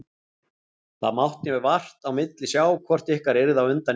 Það mátti vart á milli sjá hvort ykkar yrði á undan í mark.